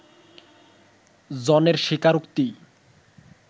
জনের স্বীকারোক্তি